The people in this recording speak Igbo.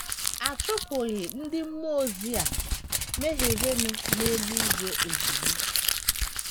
A chụpụghị ndị mmụọ ozi a mehierenụ n’eluigwe ozugbo.